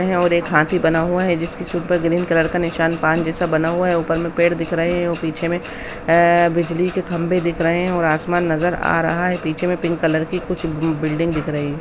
--है और एक हाथे बना हुआ है जिसकी सूँ पे ग्रीन कलर का निशान पान जैसा बना हुआ है ऊपर में पेड़ दिख रहे है और पीछे में ए बिजली के खम्भे दिख रहे है और आसमान नजर आ रहा है पीछे में पिंक कलर की कुछ बू-बिल्डिंग दिख रही है।